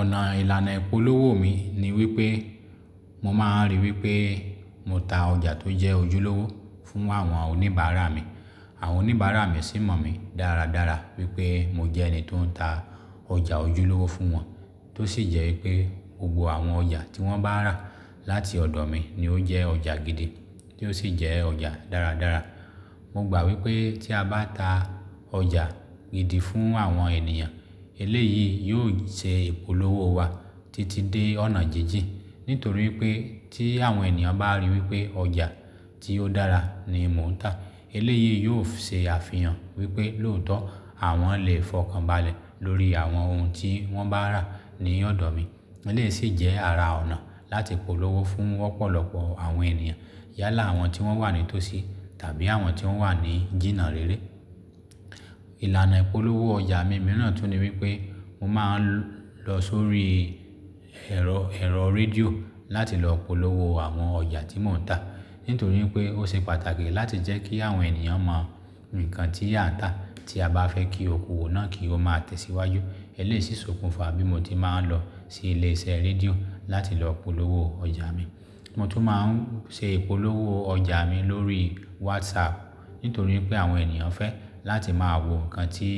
Ọ̀nà ìlànà ìpolówó mi ni wípé mo máa ń ríi wípé mo ta ọjà tó jẹ́ ojúlówó fún àwọn oníbàárà mi. Àwọn oníbàárà mi sì mọ̀ mi dáradára wípé mo jẹ́ ẹni tó ń ta ọjà ojúlówó fún wọn. Tó sì jẹ́ wípé gbogbo àwọn ọjà tí wọ́n bá rà láti ọ̀dọ̀ mi ni ó jẹ́ ọjà gidi, tí ó sì jẹ́ ọjà dáradára. Mo gbà wípé tí a bá ta ọjà gidi fún àwọn ènìyàn eléyìí yóò ṣẹ́ ìpolówó wa títí dé ọ̀nà jíjìn. Nítorí wípé tí àwọn ènìyàn bá ríi wípé ọjà tí ó dára ni mò ń tà, eléyìí yóò ṣe àfihàn wípé lóòótọ́ àwọn lè fọkànbalẹ̀ lórí àwọn ohun tí wọ́n bá rà ní ọ̀dọ̀ mi. Eléyìí sì jẹ́ ara ọ̀nà láti polówó fún ọ̀pọ̀lọpọ̀ àwọn ènìyàn yálà àwọn tí wọ́n wà ní tó sí tàbí àwọn tí wọ́n wà ní jìnnà réré. Ìlànà ìpolówó ọjà mi mìíràn tún ni wípé mo máa ń lọ sórí ẹ̀rọ, ẹ̀rọ rédíò láti lọ polówó àwọn ọjà tí mò ń tà. Nítorí wípé ó ṣe pàtàkì láti jẹ́ kí àwọn ènìyàn mọ nǹkan tí à ń tà tí a bá fẹ́ kí okowò náà kí ó máa tẹ̀síwájú. Eléyìí sì ń ṣokùnfà bí mo tí máa ń lọ sí ilé iṣẹ́ rédíò láti lọ polówó ọjà mi. Mo tún máa ń ṣe ìpolówó ọjà mi lórí WhatsApp. Nítorí wípé àwọn ènìyàn fẹ́ láti máa wo nǹkan tí